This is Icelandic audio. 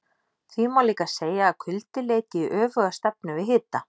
Því má líka segja að kuldi leiti í öfuga stefnu við hita.